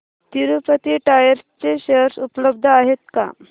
Tirupati tyres चे share उपलब्ध आहेत का